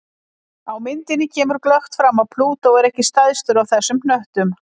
Á myndinni kemur glöggt fram að Plútó er ekki stærstur af þessum hnöttum.